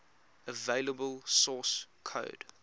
available source code